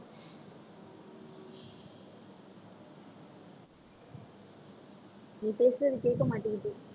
நீ பேசுறது கேட்க மாட்டேங்குது